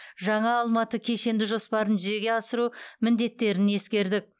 жаңа алматы кешенді жоспарын жүзеге асыру міндеттерін ескердік